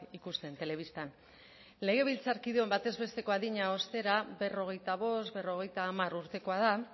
ikusten telebistan legebiltzarkideok batez besteko adina ostera berrogeita bost berrogeita hamar urtekoa da